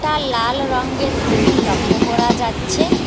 লাল রঙ্গের তুল লক্ষ্য করা যাচ্ছে।